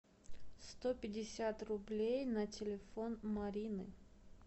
сто пятьдесят рублей на телефон марины